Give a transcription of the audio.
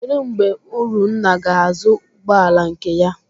Kedụ mgbe Urunna ga-azụ ụgbọala nke ya?